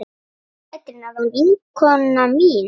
Amma Petrína var vinkona mín.